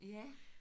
Ja